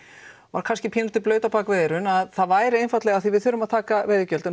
var kannski pínulítið blaut á bak við eyrun að það væri af því við þurfum að taka veiðigjöldin